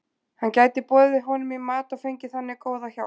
Hann gæti boðið honum í mat og fengið þannig góða hjálp.